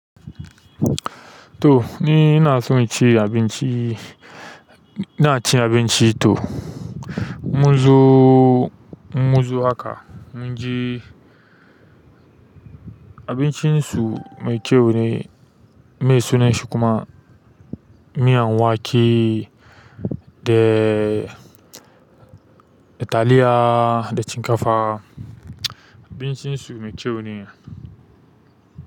To ni ina so in ci abinci. Ina cin abinci to mun zo, mun zo haka mun ji abincin su mai ƙyau ne. Me sunan shi kuma miyan wake da taliya da shinkafa. Abincin su mai ƙyau ne.